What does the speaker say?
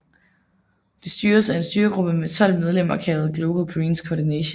Det styres af en styregruppe med 12 medlemmer kaldet Global Greens Coordination